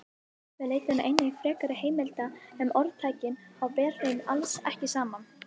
Við leituðum einnig frekari heimilda um orðtækið og ber þeim alls ekki saman.